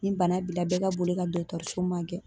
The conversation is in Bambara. Ni bana b'i la bɛɛ ka boli ka so magɛn.